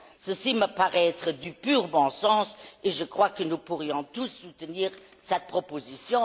Ceci me paraît être du pur bon sens et je crois que nous pourrions tous soutenir cette proposition.